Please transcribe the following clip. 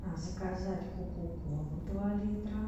заказать кока колу два литра